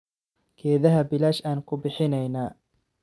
Geedhaha bilash aan kubixineyna.